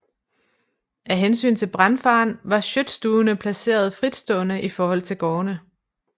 Af hensyn til brandfaren var Schøtstuene placeret fritstående i forhold til gårdene